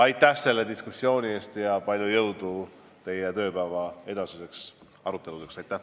Aitäh selle diskussiooni eest ja palju jõudu teie tööpäeva edasisteks aruteludeks!